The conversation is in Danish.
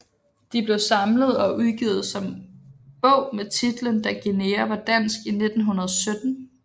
De blev samlet og udgivet som bog med titlen Da Guinea var dansk i 1917